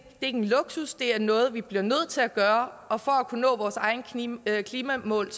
er en luksus det er noget vi bliver nødt til at gøre og for at kunne nå vores egne klimamål